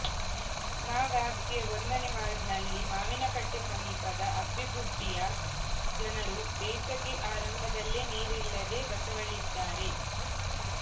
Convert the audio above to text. ನ ವ್ಯಾಪ್ತಿಯ ಒಂದನೇ ವಾರ್ಡ್ನಲ್ಲಿ ಮಾವಿನಕಟ್ಟೆ ಸಮೀಪ ಅಬ್ಬಿಗುಡ್ಡಿಯ ಜನರು ಬೇಸಗೆ ಆರಂಭದಲ್ಲೇ ನೀರಿಲ್ಲದೆ ಬಸವಳಿದಿದ್ದಾರೆ